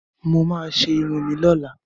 Mo máa ṣe irun mi lọ́la.